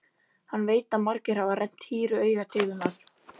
Hann veit að margir hafa rennt hýru auga til hennar.